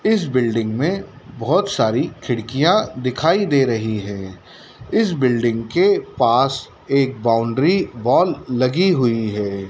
इस बिल्डिंग में बहोत सारी खिड़कियां दिखाई दे रही है इस बिल्डिंग के पास एक बाउंड्री बॉल लगी हुई है।